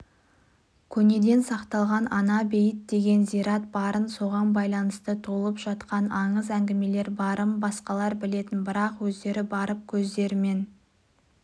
көнеден сақталған ана-бейіт деген зират барын соған байланысты толып жатқан аңыз-әңгімелер барын басқалар білетін бірақ өздері барып көздерімен